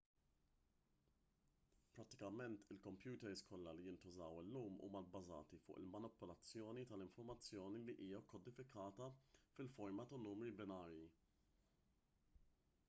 prattikament il-kompjuters kollha li jintużaw illum huma bbażati fuq il-manipulazzjoni tal-informazzjoni li hija kkodifikata f'forma ta' numri binarji